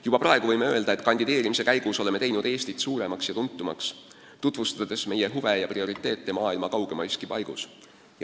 Juba praegu võime öelda, et kandideerimise käigus oleme teinud Eestit suuremaks ja tuntumaks, tutvustades meie huve ja prioriteete maailma kaugeimaiski paigus.